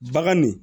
Bagan nin